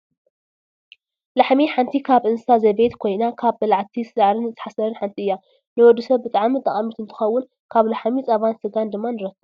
ላሕሚ ሓንቲ ካብ እንስሳ ዘቤት ኮይና ካብ በላዕቲ ሳዕርን ሓሰርን ሓንቲ እያ። ንወዲ ሰብ ብጣዕሚ ጠቃሚት እንትከውን ካብ ላሕሚ ፃባን ስጋን ድማ ንረክብ።